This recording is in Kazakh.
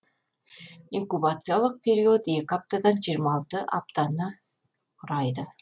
инкубациялық период екі аптадан жиырма алты аптаны құрайды